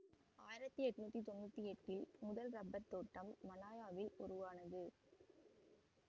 ஆயிரத்தி எண்ணூற்றி தொன்னூற்தி எட்டில் முதல் ரப்பர் தோட்டம் மலாயாவில் உருவானது